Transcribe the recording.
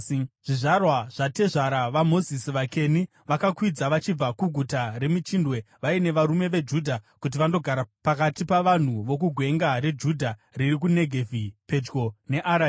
Zvizvarwa zvatezvara vaMozisi, vaKeni, vakakwidza vachibva kuGuta reMichindwe vaine varume veJudha kuti vandogara pakati pavanhu vokuGwenga reJudha riri kuNegevhi pedyo neAradhi.